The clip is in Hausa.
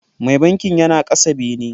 Mai bankin yana kasa bene.